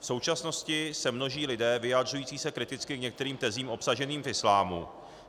V současnosti se množí lidé vyjadřující se kriticky k některým tezím obsaženým v islámu.